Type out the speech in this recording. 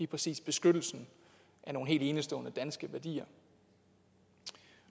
præcis beskyttelsen af nogle helt enestående danske værdier